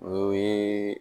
O ye